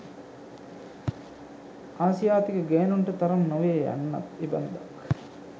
ආසියාතික ගෑනුන්ට තරම් නොවේය යන්නත් එබන්දක්.